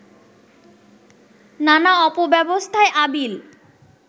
নানা অপব্যবস্থায় আবিল